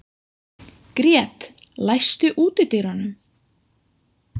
Grét, læstu útidyrunum.